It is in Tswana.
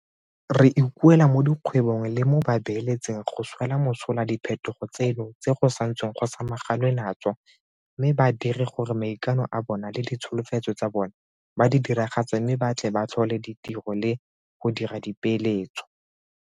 Re ikuela mo dikgwebong le mo babeeletsing go swela mosola diphetogo tseno tse go santsweng go samaganwe natso mme ba dire gore maikano a bona le ditsholofetso tsa bona ba di diragatse mme ba tle ba tlhole ditiro le go dira dipeeletso.